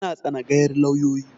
Yana tsanagayar lauyoyi